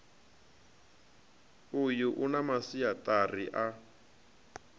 uyu u na masiaṱari a